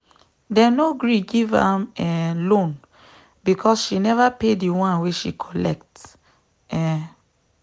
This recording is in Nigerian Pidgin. them no gree give am um loan because she never pay the ones wey she collect. um